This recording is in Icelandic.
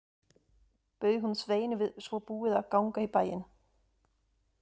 Bauð hún Sveini við svo búið að ganga í bæinn.